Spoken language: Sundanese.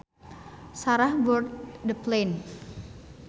Sarah boarded the plane